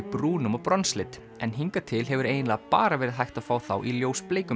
brúnum og en hingað til hefur eiginlega bara verið hægt að fá þá í